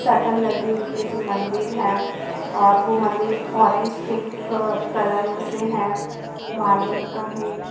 Shutter लगी हुई है जो मंदिर है और वो मंदिर ऑरेंज पिंक कलोर से है मार्बल का है ।